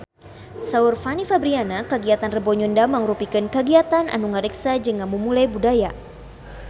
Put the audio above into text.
Saur Fanny Fabriana kagiatan Rebo Nyunda mangrupikeun kagiatan anu ngariksa jeung ngamumule budaya Sunda